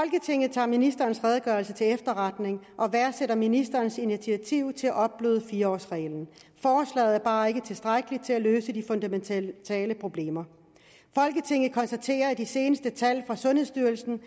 tager ministerens redegørelse til efterretning og værdsætter ministerens initiativ til at opbløde fire årsreglen forslaget er bare ikke tilstrækkeligt til at løse de fundamentale problemer folketinget konstaterer at de seneste tal fra sundhedsstyrelsen